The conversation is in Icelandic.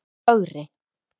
Ögri